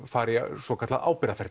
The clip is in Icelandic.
fari í svokallað